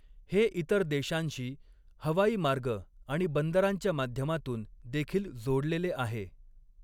हे इतर देशांशी हवाई मार्ग आणि बांद्रांच्या माध्यमातून देखील जोडलेले आहे.